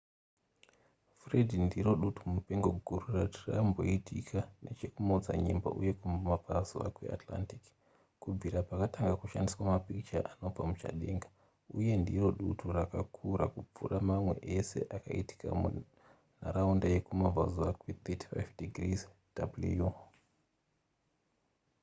fred ndiro dutu mupengo guru rati ramboitika nechekumaodzanyemba uye kumabvazuva kweatlantic kubvira pakatanga kushandiswa mapikicha anobva muchadenga uye ndiro dutu rakakura kupfuura mamwe ese akaitika mumharaunda yekumabvazuva kwe35 ° w